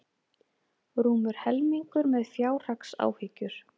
Rúmur helmingur með fjárhagsáhyggjur